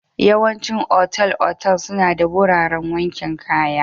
Yawaicin otal-otal suna da wuraren wankin kaya.